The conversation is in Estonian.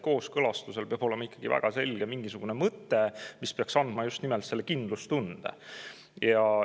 Kooskõlastusel peab olema ikkagi mingisugune väga selge mõte, mis peaks just nimelt andma kindlustunde.